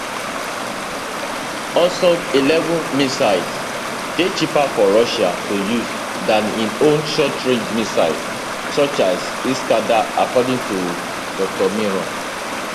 hwasong11 missiles dey cheaper for russia to use dan im own shortrange missiles such as iskander according to dr miron